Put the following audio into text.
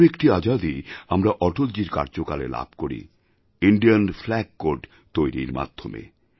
আরও একটি আজাদী আমরা অটলজীর কার্যকালে লাভ করি ইণ্ডিয়ান ফ্ল্যাগ কোড তৈরির মাধ্যমে